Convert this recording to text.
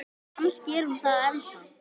Kannski er hún það ennþá.